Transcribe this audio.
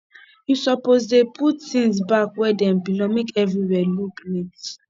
you suppose dey put tins back where dem belong make everywhere look neat